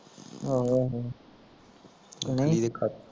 ਆਹੋ ਆਹੋ